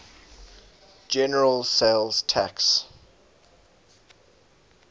general sales tax